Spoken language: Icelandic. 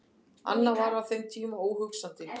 Annað var á þeim tíma óhugsandi.